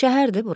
Şəhərdir bura.